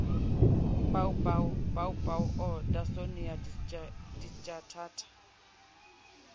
baobab baobab or adonsonia digitata